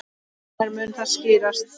Hvenær mun það skýrast?